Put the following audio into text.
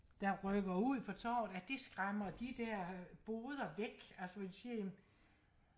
der rykker ud på torvet at det skræmmer de der boder væk altså hvor de siger jamen